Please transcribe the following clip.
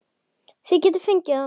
Þið getið fengið hann